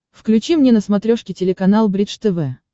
включи мне на смотрешке телеканал бридж тв